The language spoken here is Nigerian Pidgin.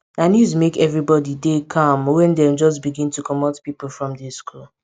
na news make everybody dey calm wen dem just begin to comot pipo from di school